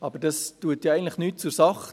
Aber das tut eigentlich nichts zur Sache.